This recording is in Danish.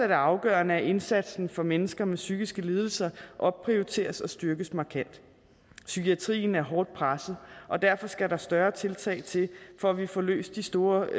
det afgørende at indsatsen for mennesker med psykiske lidelser opprioriteres og styrkes markant psykiatrien er hårdt presset og derfor skal der større tiltag til for at vi får løst de store